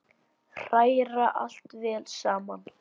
Hræra allt vel saman.